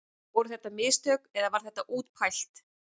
Voru þetta mistök eða var þetta útpælt?